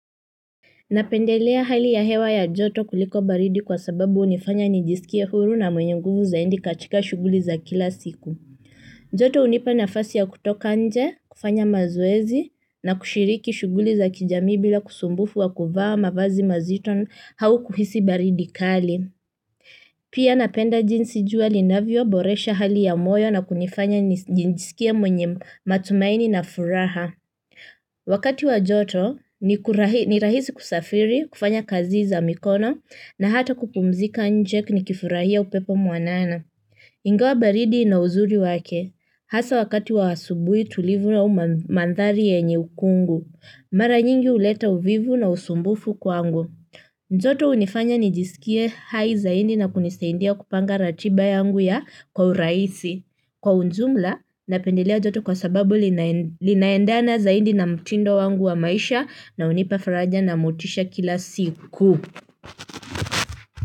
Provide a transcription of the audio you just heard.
Napendelea hali ya hewa ya joto kuliko baridi kwa sababu hunifanya nijisikie huru na mwenye nguvu zaidi katika shuguli za kila siku. Joto hunipa nafasi ya kutoka nje, kufanya mazoezi na kushiriki shuguli za kijami bila kusumbufu wa kuvaa mavazi mazito au kuhisi baridi kali. Pia napenda jinsi jua linavyo, boresha hali ya moyo na kunifanya nijisikie mwenye matumaini na furaha. Wakati wa joto ni rahisi kusafiri kufanya kazi za mikono na hata kupumzika nje nikifurahia upepo mwanana. Ingawa baridi ina uzuri wake hasa wakati wa asubui tulivu au mandhari yenye ukungu. Mara nyingi huleta uvivu na usumbufu kwangu joto hunifanya nijisikie hai zaidi na kunisaidia kupanga ratiba yangu ya kwa urahisi kwa ujumla, napendelea joto kwa sababu linaendana zaidi na mtindo wangu wa maisha na hunipa faraja na motisha kila siku.